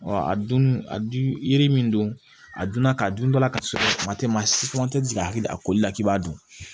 a dunni a dun yiri min don a dunna ka dun dala ka sɔrɔ kuma tɛ maa si fana tɛ ka hakili a koli la k'i b'a dun